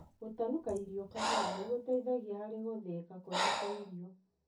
Gũtanuka irio kahora nĩgũteithagia harĩ gũthĩika kwega kwa irio.